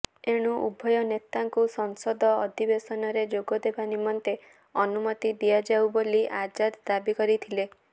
ଏଣୁ ଉଭୟନେତାଙ୍କୁ ସଂସଦ ଅଦିବେଶନରେ ଯୋଗଦେବା ନିମନ୍ତେ ଅନୁମତି ଦିଆଯାଉ ବୋଲି ଆଜାଦ ଦାବି କରିଥିଲେ